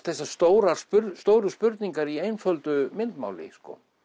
þessar stóru stóru spurningar í einföldu myndmáli